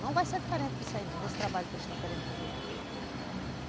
Não vai ser diferente nisso aí não, nesse trabalho que eles estão querendo fazer.